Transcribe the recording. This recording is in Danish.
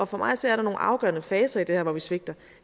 for mig at se er der nogle afgørende faser i det her hvor vi svigter